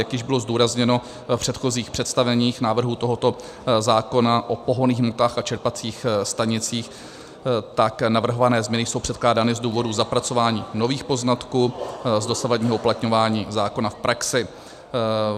Jak již bylo zdůrazněno v předchozích představeních návrhu tohoto zákona o pohonných hmotách a čerpacích stanicích, tak navrhované změny jsou předkládány z důvodu zapracování nových poznatků z dosavadního uplatňování zákona v praxi.